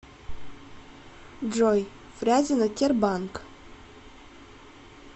джой фрязино тербанк